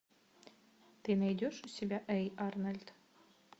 ты найдешь у себя эй арнольд